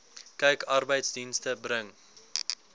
kyk arbeidsdienste bring